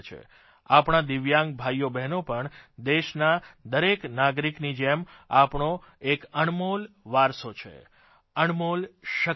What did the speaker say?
આપણા દિવ્યાંગ ભાઇઓબ્હેનો પણ દેશના દરેક નાગરિકની જેમ આપણો એક અણમોલ વારસો છે અણમોલ શકિત છે